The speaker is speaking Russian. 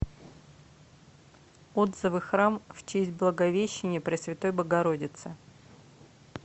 отзывы храм в честь благовещения пресвятой богородицы